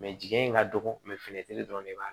jiɲɛ in ka dɔgɔ fini te dɔ de b'a